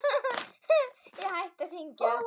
Ég hætti að syngja.